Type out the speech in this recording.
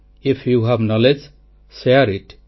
ଆଇଏଫ୍ you have knowledge share IT